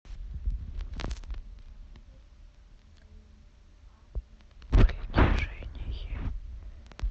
притяжение